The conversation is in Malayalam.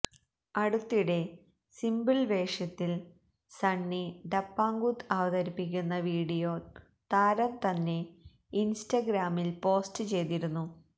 അടുത്തിടെ സിംപിൾ വേഷത്തിൽ സണ്ണി ഡപ്പാംകുത്ത് അവതരിപ്പിക്കുന്ന വീഡിയോ താരം തന്നെ ഇൻസ്റ്റാഗ്രാമിൽ പോസ്റ്റ് ചെയ്തിരുന്നു